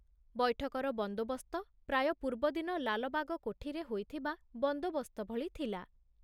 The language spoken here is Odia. ବୈଠକର ବନ୍ଦୋବସ୍ତ ପ୍ରାୟ ପୂର୍ବଦିନ ଲାଲବାଗ କୋଠିରେ ହୋଇଥିବା ବନ୍ଦୋବସ୍ତ ଭଳି ଥିଲା।